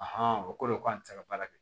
o kɔrɔ ye ko an tɛ se ka baara kɛ